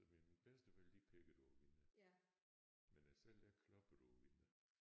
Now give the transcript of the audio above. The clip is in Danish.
Ved mine bedsteforældre de peggede på vinduet. Men jeg selv jeg kloppede på vinduet